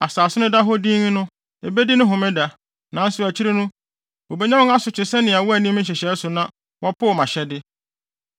Asase no da hɔ dinn no, ebedi ne homeda. Nanso akyiri no, wobenya wɔn asotwe sɛ wɔanni me nhyehyɛe so na wɔpoo mʼahyɛde.